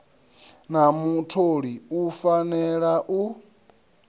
na mutholi u fanela u